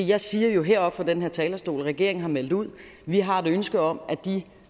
jeg siger jo heroppe fra den her talerstol at regeringen har meldt ud at vi har et ønske om at de